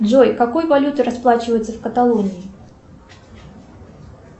джой какой валютой расплачиваются в каталонии